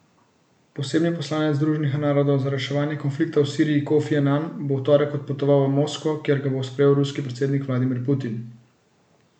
Posebni odposlanec Združenih narodov za reševanje konflikta v Siriji Kofi Anan bo v torek odpotoval v Moskvo, kjer ga bo sprejel ruski predsednik Vladimir Putin.